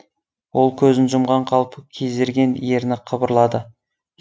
ол көзін жұмған қалпы кезерген ерні қыбырлады